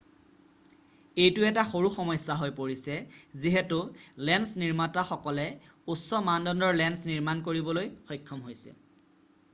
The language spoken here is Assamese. এইটো এটা সৰু সমস্যা হৈ পৰিছে যিহেতু লেন্স নিৰ্মাতা সকলে উচ্চ মানদণ্ডৰ লেন্স নিৰ্মাণ কৰিবলৈ সক্ষম হৈছে